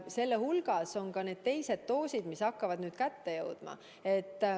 Selle hulgas tuleb arvestada ka teiste doosidega, mille aeg hakkab nüüd kätte jõudma.